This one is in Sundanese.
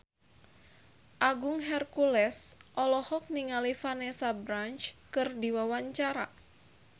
Agung Hercules olohok ningali Vanessa Branch keur diwawancara